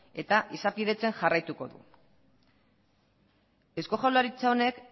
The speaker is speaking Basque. eta izapidetzen jarraituko du eusko jaurlaritza honek